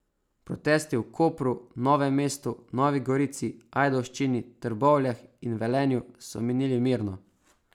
Protesti v Kopru, Novem mestu, Novi gorici, Ajdovščini, Trbovljah in Velenju so minili mirno.